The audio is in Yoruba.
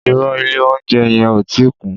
Ìrõ, ìlé ounjé yen ò ti kún